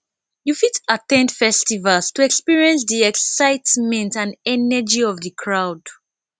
you fit at ten d festivals to experience di excitement and energy of di crowd